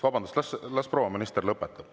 Vabandust, las proua minister lõpetab.